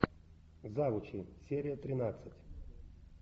завучи серия тринадцать